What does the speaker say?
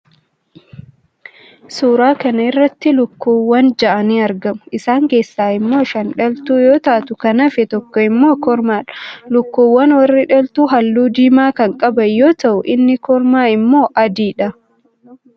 suuraa kana irratti lukkuuwwan ja'a ni argamu. isaan keessaa immoo shan dhaltuu yoo taatu, kan hafe tokko immoo kormaadha. lukkuuwwan warri dhaltuu halluu diimaa kan qaban yoo ta'u, inni kormaa immoo adiidha.